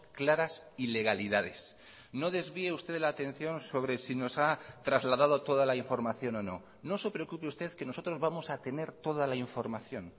claras ilegalidades no desvíe usted la atención sobre si nos ha trasladado toda la información o no no se preocupe usted que nosotros vamos a tener toda la información